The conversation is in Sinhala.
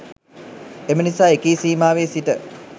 එම නිසා එකී සීමාවෙ සිට